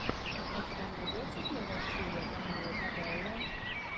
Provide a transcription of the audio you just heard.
у тебя найдется первая серия камилы кабелло